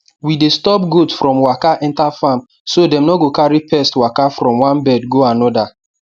we dey stop goat from waka enter farm so dem no carry pest waka from one bed go another